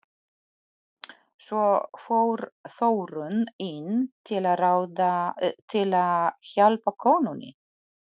Svo fór Þórunn inn til að hjálpa konunni.